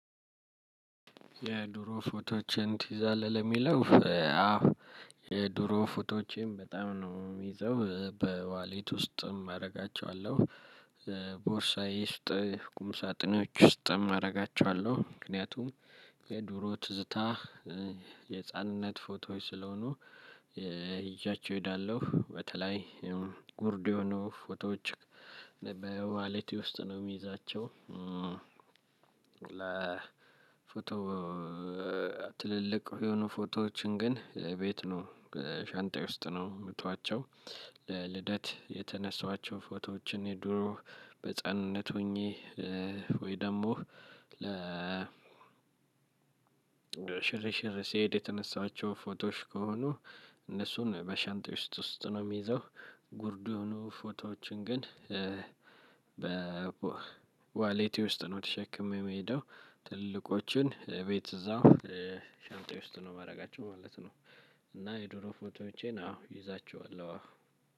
የድሮ ፎቶቼን ትይዛለህ? ለሚለው አዎ የድሮ ፎቶቼም በጣም ነው የሚይዘው በዋሊት ውስጥም አደርጋቸዋለሁ። ቦርሳዬ ውስጥ ቁም ሳጥኖች ውስጥ አደርጋቸዋለሁ ምክንያቱም የድሮ ትዝታ የህፃንነት ፎቶ ስለሆኑ። ይዣቸው እሄዳለሁ በተለይ ጉርድ የሆኑ ፎቶዎች በዋሊቲ ውስጥ ነው የሚይዛቸው። ለፎቶ ትልልቅ የሆኑ ፎቶዎችን ግን ቤት ነው ሻንጣዬ ውስጥ ነው የምተዋቸው። ለልደት የተነሳዋቸው ፎቶዎችን የድሮ በህፃንነት ሆኜ ወይ ደግሞ ለ ሽር ሽር ሲሄድ የተነሳቸው ፎቶሽ ከሆኑ። እነሱን በሸንጣየ ውስጥ ውስጥ ነው የሚይዘው። ጉርዱ ሆኖ ፎቶዎችን ግን በ ዋሌቴ ውስጥ ነው ተሸክሜ የሚሄደው። ትልልቆችን ቤት እዛው ሻንጣየ ውስጥ ነው የማደርጋቸው ማለት ነው። እና የዱሮ ፎቶቼን አዎ ይዛችኋለሁ።